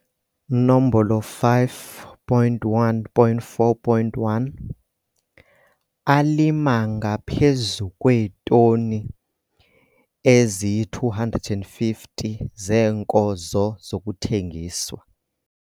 5.1.4.1 Alima ngaphezu kweetoni eziyi-250 zeenkozo zokuthengiswa.